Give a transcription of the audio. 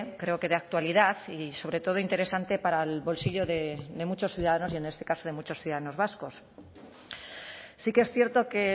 creo que de actualidad y sobre todo interesante para el bolsillo de muchos ciudadanos y en este caso de muchos ciudadanos vascos sí que es cierto que